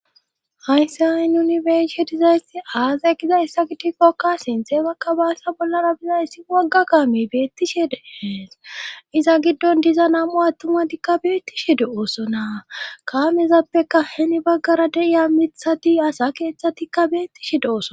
hayssi hayi nuni becshe dizaysti aazay giza issa gitikkokka sintheebakka baassa bollana bizayssi wagga kaami beettishede hees iza giddon diza namo attumatikka beettishe de oosona kamezappeka heni baggara deiya mithati asa keeththatikka beettishe deoson